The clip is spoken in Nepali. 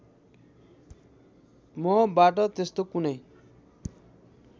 मबाट त्यस्तो कुनै